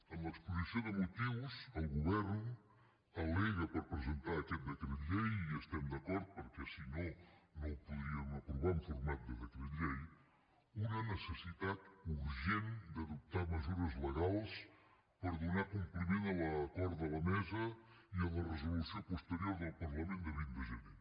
en l’exposició de motius el govern al·lega per presentar aquest decret llei i hi estem d’acord perquè si no no ho podríem aprovar en format de decret llei una necessitat urgent d’adoptar mesures legals per donar compliment a l’acord de la mesa i a la resolució posterior del parlament de vint de gener